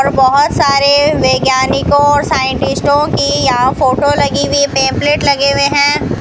और बहोत सारे वैज्ञानिकों और साइंटिस्टों की यहां फोटो लगी हुई पंपलेट लगे हुए हैं।